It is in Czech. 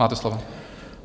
Máte slovo.